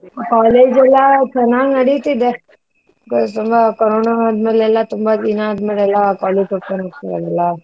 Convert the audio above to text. College ಎಲ್ಲಾ ಚನ್ನಾಗ್ ನಡಿತಿದೇ ತುಂಬಾ ಕರೋನ ಆದ್ಮೇಲೆ ಎಲ್ಲ, ತುಂಬಾ ದಿನ ಆದ್ಮೇಲೆ ಎಲ್ಲಾ college open ಆಗ್ತಿದೆ ಅಲ್ವಾ?